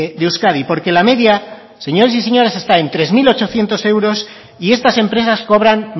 de euskadi porque la media señores y señoras está en tres mil ochocientos euros y estas empresas cobran